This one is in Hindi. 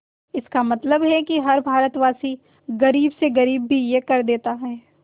इसका मतलब है कि हर भारतवासी गरीब से गरीब भी यह कर देता है